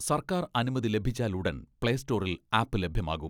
സർക്കാർ അനുമതി ലഭിച്ചാലുടൻ പ്ലേ സ്റ്റോറിൽ ആപ്പ് ലഭ്യമാകും.